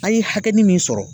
A' ye hakɛnin min sɔrɔ.